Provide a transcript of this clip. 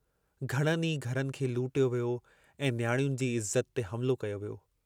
घणनि ई घरनि खे लुटियो वियो ऐं नियाणियुनि जी इज्ज़त ते हमिलो कयो वियो।